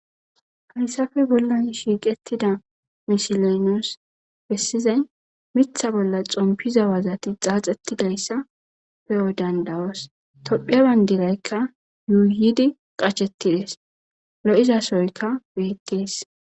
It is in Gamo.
hayssafe bolla shiiqettida misiley nus bessizay miththa bolla xompiza wazati xaaxettidayssa pe'o danid'os tophphiya baynidirayikka yuuyidi qachchetidees lo'izasoyka betees